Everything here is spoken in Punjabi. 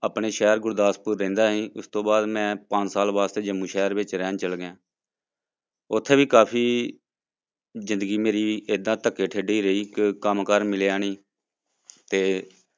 ਆਪਣੇ ਸ਼ਹਿਰ ਗੁਰਦਾਸਪੁਰ ਰਹਿੰਦਾ ਸੀ, ਇਸ ਤੋਂ ਬਾਅਦ ਮੈਂ ਪੰਜ ਸਾਲ ਵਾਸਤੇ ਜੰਮੂ ਸ਼ਹਿਰ ਵਿੱਚ ਰਹਿਣ ਚਲੇ ਗਿਆ ਉੱਥੇ ਵੀ ਕਾਫ਼ੀ ਜ਼ਿੰਦਗੀ ਮੇਰੀ ਏਦਾਂ ਧੱਕੇ ਠੇਢੇ ਹੀ ਰਹੀ ਕਿ ਕੰਮ ਕਾਰ ਮਿਲਿਆ ਨੀ ਤੇ